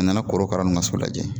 A nana korokara nunnu ka so lajɛ